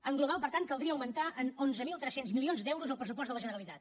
en global per tant caldria augmentar en onze mil tres cents milions d’euros el pressupost de la generalitat